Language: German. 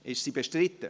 Ist sie bestritten?